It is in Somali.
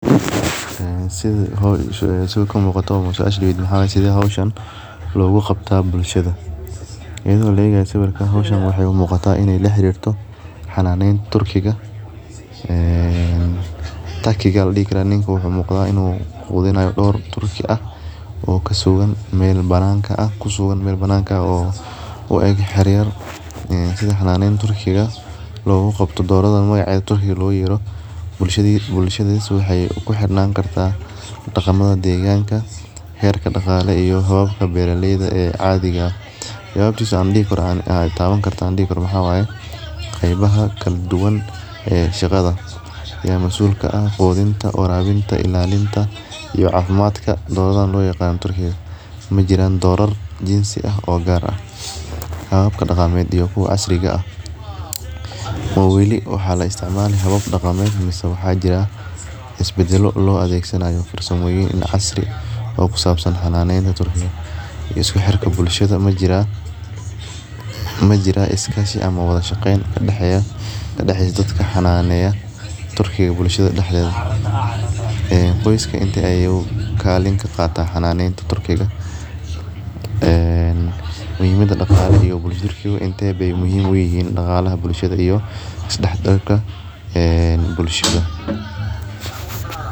Sitha kumuqato suasha talo waxaa weye sithe hoshan logu qabtaa bulshaada iyada oo laegayo sawirkan waxee u muqataa in ee la xarirto xananen turkiga ee taki aya ladihi karaa wuxuu umuqda in ee turki ah oo kaso horkedo oo kusugan meel bananka ah oo yar yar sitha xananeta turkiga logu qabto doreyda doradhan magacya logu yerto bulshadisa waxee ku xirnan kartaa daqamadha deganikisa herka daqale iyo hababka beera leyda ee cadhiga eh jawabtosa waxaan dihi karnaa waxee tawani qebaha kala daduwan ee shaqada ya masul ka ah qudinta warabinta ilalinta iyo cafimaadka loyaqano turkiga majiran dorar insi ah oo hababka daqamed iyo kuwa casriga ah oo wali waxaa laistimali habab daqameed mase waxaa jira hab lo adhegsanayo farsamoyin casriyed kusabsan xananeta turkiga iyo isku xirka bulshaada majira iskashi ama wadha shaqen kadaxeya dadka turkiga bulshaada daxdedha qoska intu kalin ka qata xananeta turkiga ee muhiimaada daqale ee bulshaada intee be muhiim uyihin bulshaada iyo isdax galka bulshaada.